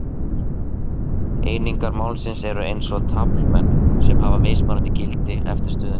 Einingar málsins eru eins og taflmenn sem hafa mismunandi gildi eftir stöðunni.